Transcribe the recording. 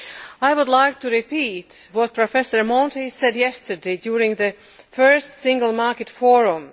I would like to repeat what Professor Monti said yesterday during the first Single Market Forum.